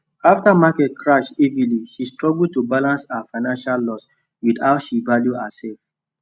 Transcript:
after market crash heavy she struggle to balance her financial loss with how she value herself